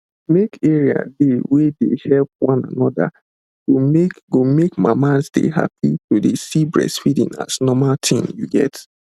make area dey wey dey help one another go make go make mamas dey happy to dey see breastfeeding as normal tin you get